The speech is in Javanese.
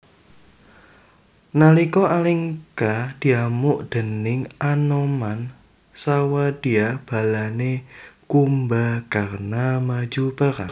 Nalika Alengka diamuk déning Anoman sawadya balane Kumbakarna maju perang